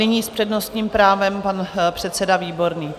Nyní s přednostním právem pan předseda Výborný.